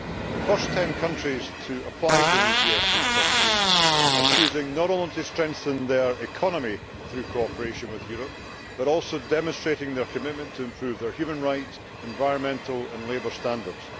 The first ten countries to apply for the new GSP scheme are choosing not only to strengthen their economy through cooperation with Europe, but also demonstrating their commitment to improving their human rights, environmental and labour standards.